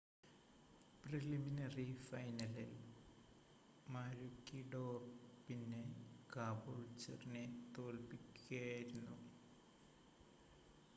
preliminary ഫൈനലിൽ മാരൂക്കിഡോർ പിന്നെ കാബൂൾച്ചറിനെ തോൽപ്പിക്കുകയായിരുന്നു